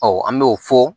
an b'o fɔ